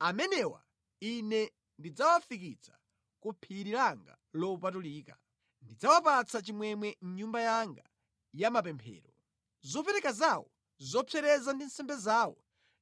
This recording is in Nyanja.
amenewa Ine ndidzawafikitsa ku phiri langa lopatulika, ndidzawapatsa chimwemwe mʼnyumba yanga ya mapemphero. Zopereka zawo zopsereza ndi nsembe zawo